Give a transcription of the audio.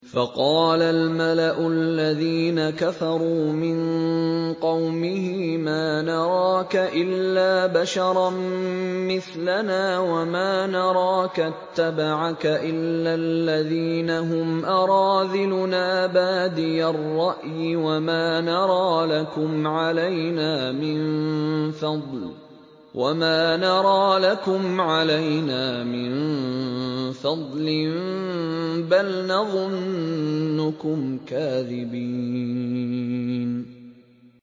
فَقَالَ الْمَلَأُ الَّذِينَ كَفَرُوا مِن قَوْمِهِ مَا نَرَاكَ إِلَّا بَشَرًا مِّثْلَنَا وَمَا نَرَاكَ اتَّبَعَكَ إِلَّا الَّذِينَ هُمْ أَرَاذِلُنَا بَادِيَ الرَّأْيِ وَمَا نَرَىٰ لَكُمْ عَلَيْنَا مِن فَضْلٍ بَلْ نَظُنُّكُمْ كَاذِبِينَ